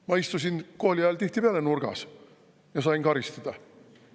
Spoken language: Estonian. Ma istusin kooli ajal tihtipeale nurgas ja sain karistada.